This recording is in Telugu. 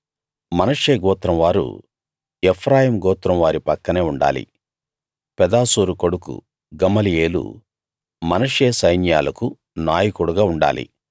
మనష్షే గోత్రం వారు ఎఫ్రాయిము గోత్రం వారి పక్కనే ఉండాలి పెదాసూరు కొడుకు గమలీయేలు మనష్షే సైన్యాలకు నాయకుడుగా ఉండాలి